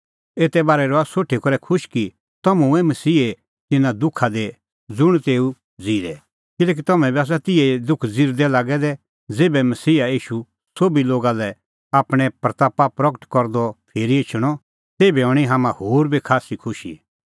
एते बारै रहा इहअ सोठी करै खुश कि तम्हैं हुऐ मसीहे तिन्नां दुखा दी साझ़ू ज़ुंण तेऊ ज़िरै किल्हैकि तम्हैं बी आसा तिहै ई दुख ज़िरदै लागै दै ज़ेभै मसीहा ईशू सोभी लोगा लै आपणीं महिमां प्रगट करदअ फिरी एछणअ तेभै हणीं तम्हां होर बी खास्सी खुशी